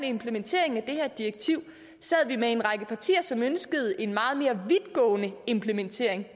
implementeringen af det her direktiv sad vi med en række partier som ønskede en meget mere vidtgående implementering